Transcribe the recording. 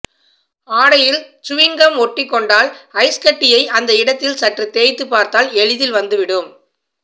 ஆடையில் சுவிங்கம் ஒட்டிக்கொண்டால் ஐஸ் கட்டியை அந்த இடத்தில் சற்று தேய்த்துப் பார்த்தால் எளிதில் வந்துவிடும்